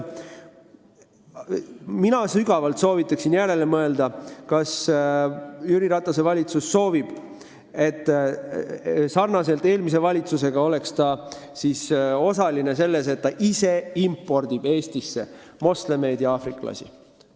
Mina soovitan sügavalt järele mõelda, kas Jüri Ratase valitsus soovib olla nagu meie eelmine valitsus osaline selles, et ta ise impordib Eestisse moslemeid ja aafriklasi.